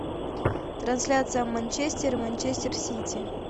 трансляция манчестер и манчестер сити